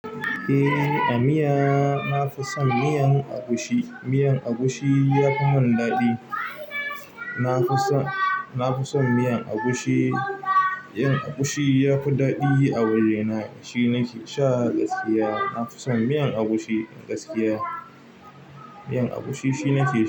Eh, a miya na fi son miyan agushi. Miyan agushi ya fi mun daɗi. Na fi so, na fi son miyan agushi. Miyan agushi ya fi daɗi a wajena. Shi nake sha gaskiya. Na fi son miyan agushi gaskiya. Miyan agushi shi nake.